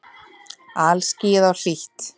Alskýjað og hlýtt.